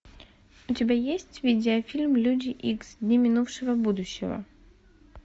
у тебя есть видеофильм люди икс дни минувшего будущего